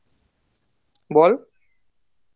বল